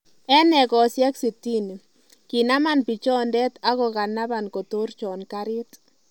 En egosiek sitini, kinaman pichondet akokanaban kotorchon karit